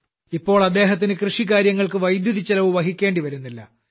ഇപ്പോൾ അദ്ദേഹത്തിന് കൃഷികാര്യങ്ങൾക്ക് വൈദ്യുതിച്ചെലവ് വഹിക്കേണ്ടിവരുന്നില്ല